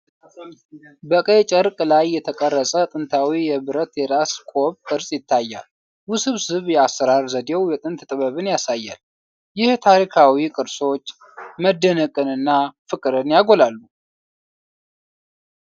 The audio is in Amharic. በቀይ ጨርቅ ላይ የተቀረጸ ጥንታዊ የብረት የራስ ቆብ ቅርጽ ይታያል። ውስብስብ የአሠራር ዘዴው የጥንት ጥበብን ያሳያል። ይህ ታሪካዊ ቅርሶች መደነቅንና ፍቅርን ያጎላሉ።